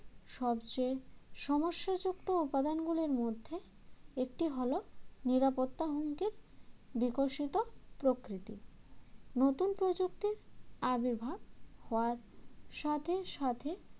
সবচেয়ে সমস্যাযুক্ত উপাদানগুলির মধ্যে একটি হল নিরাপত্তা হুমকির বিকশিত প্রকৃতি নতুন প্রযুক্তির আবির্ভাব হয় সাথে সাথে